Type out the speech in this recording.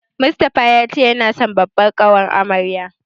Mustapha ya ce yana son babbar ƙawar amaryar.